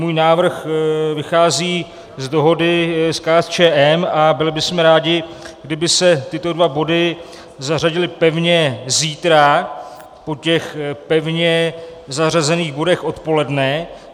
Můj návrh vychází z dohody s KSČM a byli bychom rádi, kdyby se tyto dva body zařadily pevně zítra po těch pevně zařazených bodech odpoledne.